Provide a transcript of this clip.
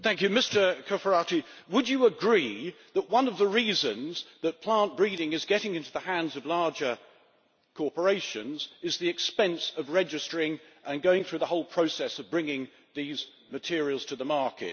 Mr Cofferati, would you agree that one of the reasons that plant breeding is getting into the hands of larger corporations is the expense of registering and going through the whole process of bringing these materials to the market?